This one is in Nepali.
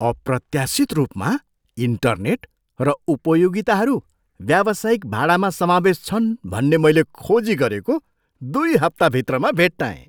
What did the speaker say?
अप्रत्याशित रूपमा, इन्टरनेट र उपयोगिताहरू व्यावसायिक भाडामा समावेस छन् भन्ने मैले खोजी गरेको दुई हप्ता भित्रमा भेट्टाएँ।